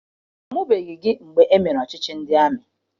Amụbeghị gị mgbe emere ọchịchị ndị amị.